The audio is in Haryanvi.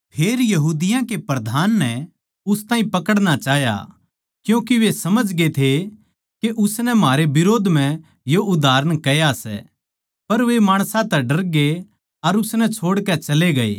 फेर यहूदियाँ के प्रधान नै उस ताहीं पकड़ना चाह्या क्यूँके वे समझगे थे के उसनै म्हारै बिरोध म्ह यो उदाहरण कह्या सै पर वे माणसां तै डरगे अर उसनै छोड़कै चले गये